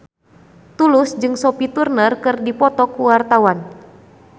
Tulus jeung Sophie Turner keur dipoto ku wartawan